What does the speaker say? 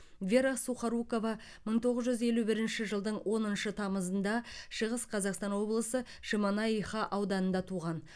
вера сухорукова мың тоғыз жүз елу бірінші жылдың оныншы тамызында шығыс қазақстан облысы шемонаиха ауданында туған